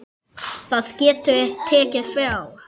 Það getur tekið frá